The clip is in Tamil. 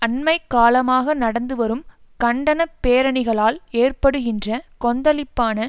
அண்மை காலமாக நடந்துவரும் கண்டன பேரணிகளால் ஏற்படுகின்ற கொந்தளிப்பான